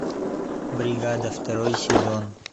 бригада второй сезон